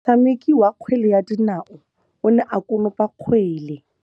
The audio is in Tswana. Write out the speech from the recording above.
Motshameki wa kgwele ya dinaô o ne a konopa kgwele.